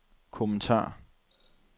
kommentar